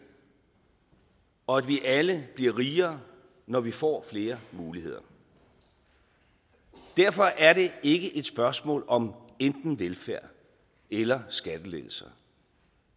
og at vi alle bliver rigere når vi får flere muligheder derfor er det ikke et spørgsmål om enten velfærd eller skattelettelser